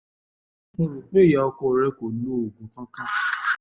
ọ̀pọ̀ nǹkan ló lè fà á tí potassium fi máa um ń um pọ̀ jù um